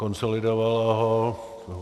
Konsolidovala ho.